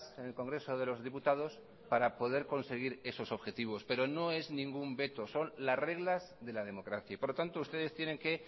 en el congreso de los diputados para poder conseguir esos objetivos pero no es ningún veto son las reglas de la democracia y por lo tanto ustedes tienen que